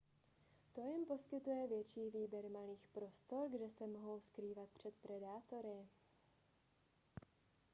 to jim poskytuje větší výběr malých prostor kde se mohou skrývat před predátory